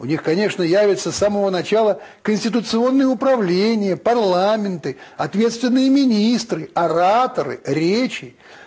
у них конечно явится с самого начала конституционное управление парламенты ответственные министры ораторы речи